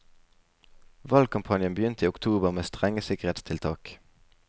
Valgkampanjen begynte i oktober med strenge sikkerhetstiltak.